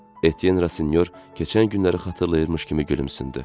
Etyen Rasinyor keçən günləri xatırlayırmış kimi gülümsündü.